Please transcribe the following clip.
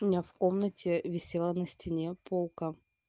у меня в комнате висела на стене полка